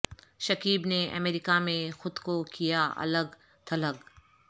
شکیب نے امریکہ میں خود کو کیا الگ تھلگ